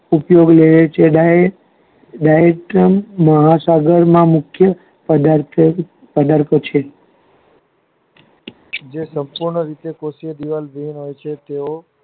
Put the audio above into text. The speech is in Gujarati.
ઉપયોગ આવે છે Wight મહાસાગર માં મુખ્ય પ્રદાથો ઉમર પછી જે તેઓ